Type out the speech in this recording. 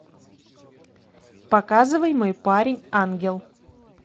показывай мой парень ангел